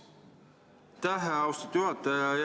Aitäh, austatud juhataja!